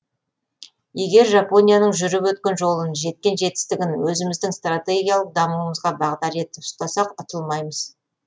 егер жапонияның жүріп өткен жолын жеткен жетістігін өзіміздің стратегиялық дамуымызға бағдар етіп ұстасақ ұтылмаймыз